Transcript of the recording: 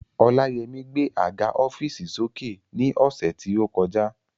Ọláyẹmí gbé àga ọ́fììsì sókè ní ọ̀sẹ̀ tí ó kọjá